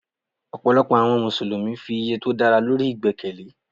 Ọ̀pọ̀lọpọ̀ àwọn Mùsùlùmí fi iye tí ó dára lórí ìgbẹ́kẹ̀lé.